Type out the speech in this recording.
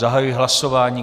Zahajuji hlasování.